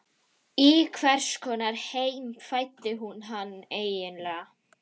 Í hvers konar heim fæddi hún hann eiginlega?